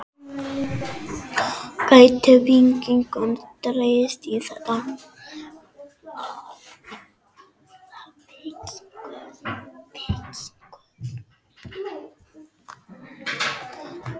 Einstök kona er fallin frá.